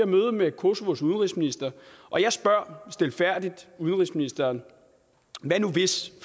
møde med kosovos udenrigsminister og jeg spurgte stilfærdigt udenrigsministeren hvad nu hvis